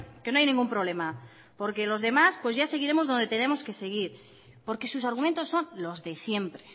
que no hay ningún problema porque los demás pues ya seguiremos donde tenemos que seguir porque sus argumentos son los de siempre